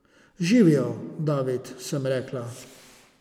Živjo, David, sem rekla.